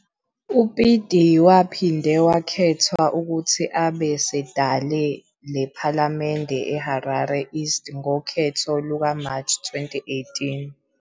UBiti waphinda wakhethwa ukuthi abe sedale lephalamende eHarare East ngokhetho lukaMarch 2008.